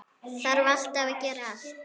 Þarf alltaf að gera allt.